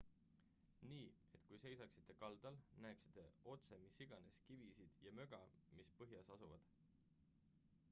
nii et kui seisaksite kaldal näeksite otse mis iganes kivisid ja möga mis põhjas asuvad